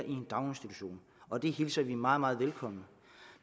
en daginstitution og det hilser vi meget meget velkommen